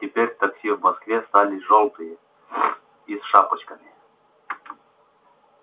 теперь такси в москве стали жёлтые и с шапочкаи